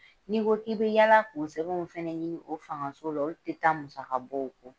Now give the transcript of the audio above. Ni ko k'i bɛ yala k'o sɛbɛn fɛnɛ ɲini o fangaso la, olu tɛ taa musaka bɔw kɔ